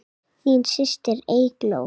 Þín systir, Eygló.